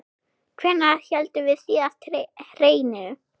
Hvenær héldum við síðast hreinu?